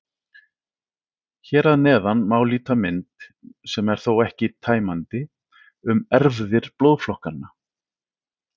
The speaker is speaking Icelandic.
Hér að neðan má líta mynd, sem þó er ekki tæmandi, um erfðir blóðflokkanna.